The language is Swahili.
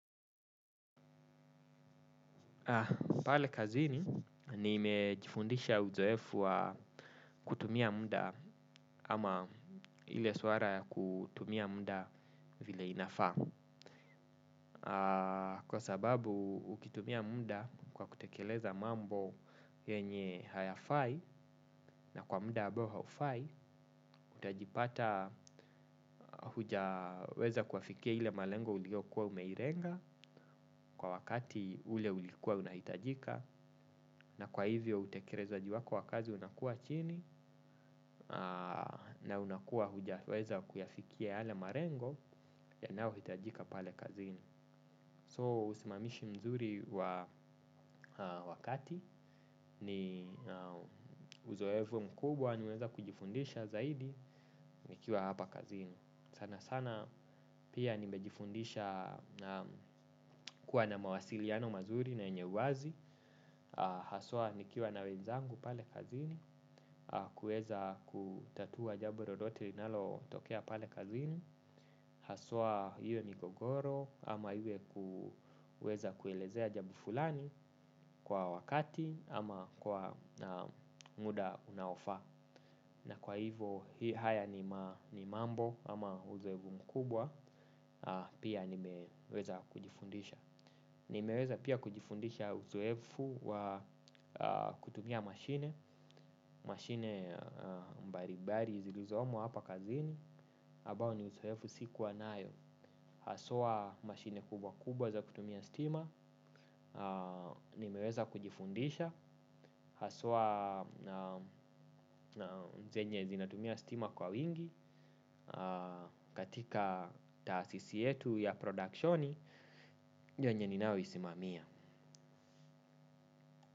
Pale kazini, niimejifundisha uzoefu wa kutumia muda ama ile swara ya kutumia muda vile inafaa. Kwa sababu, ukitumia muda kwa kutekeleza mambo yenye hayafai na kwa muda ambao haufai, utajipata hujaweza kuafikia ile malengo uliokua umeilenga kwa wakati ule ulikua unahitajika. Na kwa hivyo utekelezaji wako w akazi unakua chini na unakua hujaweza kuyafikia yale malengo yanao hitajika pale kazini. So usimamishi mzuri wa wakati nina uzoefu mkubwa nimeweza kujifundisha zaidi nikiwa hapa kazini. Sana sana pia nimejifundisha kuwa na mawasiliano mazuri na yenye wazi. Haswa nikiwa na wenzangu pale kazini. Kueza kutatua jambo lolotete linalo tokea pale kazini. Haswa iwe migogoro ama iwe ku kuelezea jambo fulani. Kwa wakati ama kwa muda unaofaa. Na kwa hivo haya ni mambo ama uzoefu mkubwa. Pia nimeweza kujifundisha. Nimeweza pia kujifundisha uzoefu wa kutumia mashine mashine mbalimbali zilizopo hapa kazini ambao ni uzoefu sikua nao. Haswa mashine kubwa kubwa za kutumia stima. Nimeweza kujifundisha. Haswa zenye zinatumia stima kwa wingi. Katika taasisi yetu ya productioni ndio yenye ninayo isimamia.